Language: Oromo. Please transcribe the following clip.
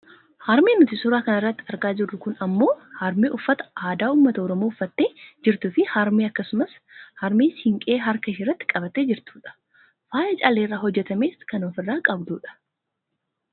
Harmeen nuti suuraa irratti argaa jirru kun ammoo harmee uffata aadaa uummata oromoo uffattee jirtuufi harmee akkasumas harmee siiqqee harka isheerratti qabattee jirtudha. Faaya calleerraa hojjatames kan ofirraa qabdu dha.